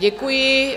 Děkuji.